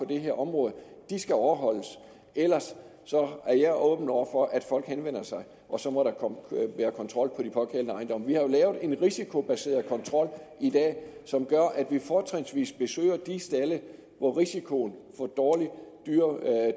det her område skal overholdes ellers er jeg åben over for at folk henvender sig og så må der være kontrol på de pågældende ejendomme vi har jo en risikobaseret kontrol i dag som gør at vi fortrinsvis besøger de stalde hvor risikoen for dårlig